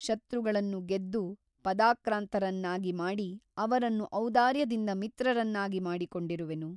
ಶತ್ರುಗಳನ್ನು ಗೆದ್ದು ಪದಾಕ್ರಾಂತರನ್ನಾಗಿ ಮಾಡಿ ಅವರನ್ನು ಔದಾರ್ಯದಿಂದ ಮಿತ್ರರನ್ನಾಗಿ ಮಾಡಿಕೊಂಡಿರುವೆನು.